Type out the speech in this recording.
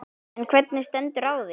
En hvernig stendur á því?